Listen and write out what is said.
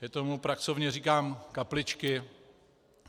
Já tomu pracovně říkám kapličky.